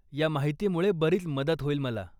या माहितीमुळे बरीच मदत होईल मला.